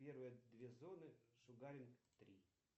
первые две зоны шугаринг три